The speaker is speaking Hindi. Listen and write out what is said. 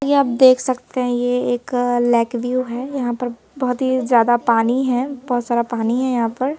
कि आप देख सकते हैं ये एक लेक व्यू है यहां पर बहुत ही ज्यादा पानी है बहुत सारा पानी है यहां पर।